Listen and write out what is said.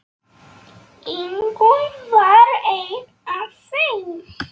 Ingunn var ein af þeim.